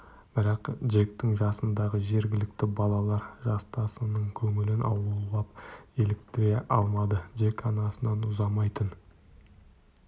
бірақ джектің жасындағы жергілікті балалар жастасының көңілін аулап еліктіре алмады джек анасынан ұзамайтын